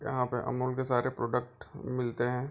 यहाँ पे अमूल के सारे प्रोडक्ट मिलते हैं।